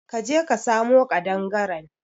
ka je ka samo kadangaren.